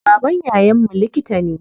Babban yayan mu likita ne.